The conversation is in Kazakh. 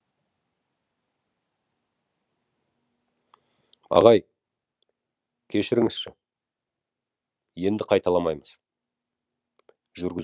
ағай кешіріңізші енді қайталамаймыз жүргізуші